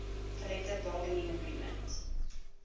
collective bargaining agreement